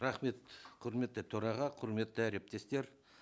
рахмет құрметті төраға құрметті әріптестер